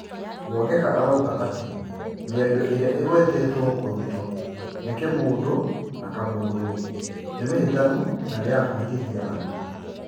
Mwangeka arauuga atĩ mĩario ĩrĩa ĩgwetetwo kũrutũo nĩ Kĩmũndũ na Kamũndũ nĩ mahĩtanu na nĩ ma kũhĩtithia andũ.